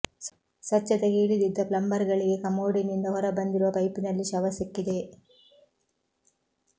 ಸ್ವಚ್ಛತೆಗೆ ಇಳಿದಿದ್ದ ಪ್ಲಂಬರ್ ಗಳಿಗೆ ಕಮೋಡಿನಿಂದ ಹೊರಬಂದಿರುವ ಪೈಪಿನಲ್ಲಿ ಶವ ಸಿಕ್ಕಿದೆ